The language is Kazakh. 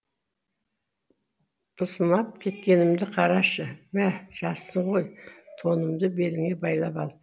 пысынап кеткенімді қарашы мә жассың ғой тонымды беліңе байлап ал